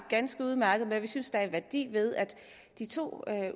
ganske udmærket med og synes der er en værdi ved at i de to